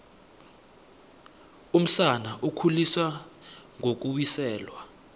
umsana ukhuliswa ngokuwiselwa